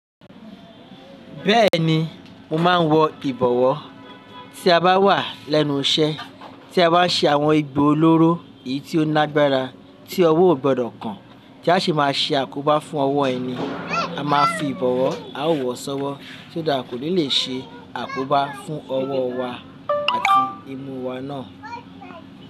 Bẹ́ẹ̀ni, mo máa ń wọ ìbọ̀wọ́ tí a bá wà lẹ́nu iṣẹ́, tí a bá ṣe àwọn ẹgbo olóró èyí tí ó lágbára tí ọwọ́ ò gbọdọ̀ kàn ti a sì máa ṣe àkóbá fún ọwọ́ ẹni. A máa ń fi ìbọ̀wọ́ aáwọ̀ sọ́wọ́ so that ko ni lè ṣe àkóbá fún ọwọ́ wa àti imú wa náà.